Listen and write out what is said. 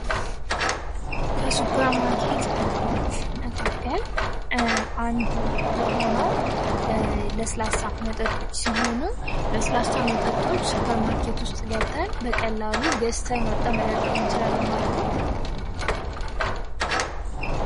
ከሱፐርማርኬት እቃዎች መካከል አንዱ የሆነው ለስላሳ መጠጦች ሲሆኑ ለስላሳ መጠጦች ሱፐር ማርኬት ውስጥ ገብተን በቀላሉ ገዝተን ወጥተን መጠጣት እንችላለን ማለት ነው።